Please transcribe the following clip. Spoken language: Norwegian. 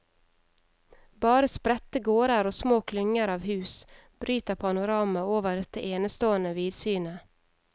Bare spredte gårder og små klynger av hus bryter panoramaet over dette enestående vidsynet.